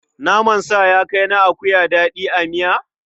Naman sa ya kai na akuya daɗi a miya?